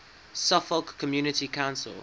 suffolk community council